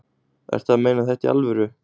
Ertu að meina þetta í alvöru?